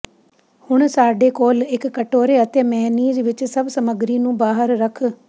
ਹੁਣ ਸਾਡੇ ਕੋਲ ਇੱਕ ਕਟੋਰੇ ਅਤੇ ਮੇਅਨੀਜ਼ ਵਿੱਚ ਸਭ ਸਮੱਗਰੀ ਨੂੰ ਬਾਹਰ ਰੱਖ